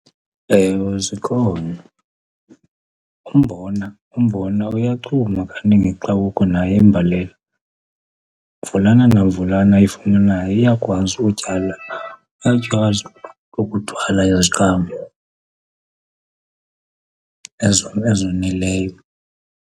Ewe zikhona. Umbona, umbona uyachuma kanti ngexa kukho naye imbalela. Mvulana namvulana ayifumanayo iyakwazi utyala, uyakwazi ukuthwala iziqhamo ezoneleyo.